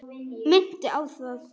Minnti á það.